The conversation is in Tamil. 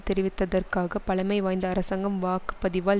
தெரிவித்ததற்காக பழமைவாய்ந்த அரசாங்கம் வாக்கு பதிவால்